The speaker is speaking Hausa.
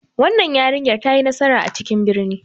Wannan yarinyar ta yi nasara a cikin birni.